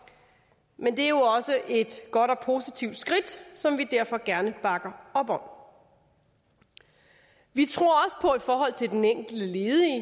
men det er jo også et godt og positivt skridt som vi derfor gerne bakker op om i forhold til den enkelte ledige